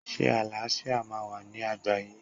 Ṣé àlàáfíà máa wà ní àgbáyé?